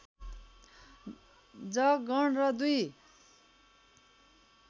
ज गण र दुई